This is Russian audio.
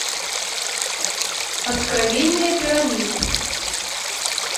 откровения пирамид